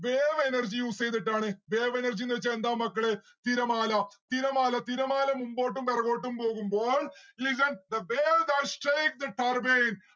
wave energy use എയ്തിട്ടാണ് wave energy ന്ന്‌ വെച്ചാൽ എന്താണ് മക്കളെ തിരമാല. തിരമാല തിരമാല മുമ്പോട്ടും പെറകോട്ടും പോകുമ്പോൾ listen, the wave that strick the turbane